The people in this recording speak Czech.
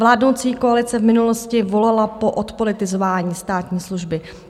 Vládnoucí koalice v minulosti volala po odpolitizování státní služby.